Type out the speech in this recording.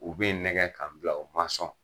U be nɛgɛ k'an bila u ma sɔn.